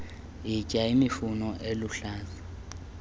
yitya imifuno eluhlaza